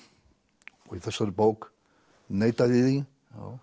og í þessari bók neita ég því